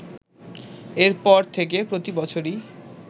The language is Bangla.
এরপর থেকে প্রতি বছরই